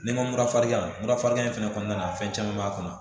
N'i ma mura farinya mura farinya in fɛnɛ kɔnɔna na fɛn caman b'a kɔnɔ